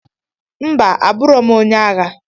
Mba aburọ m onye agha.